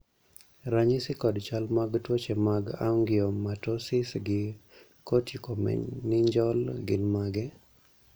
ranyisi kod chal mag tuoche mag Angiomatosis gi corticomeningeal gin mage?